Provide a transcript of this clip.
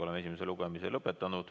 Oleme esimese lugemise lõpetanud.